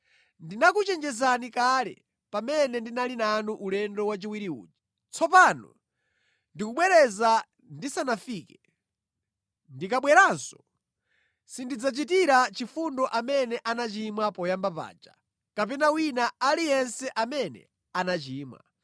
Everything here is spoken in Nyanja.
Ndinakuchenjezani kale pamene ndinali nanu ulendo wachiwiri uja. Tsopano ndikubwereza ndisanafike. Ndikabweranso sindidzachitira chifundo amene anachimwa poyamba paja kapena wina aliyense amene anachimwa,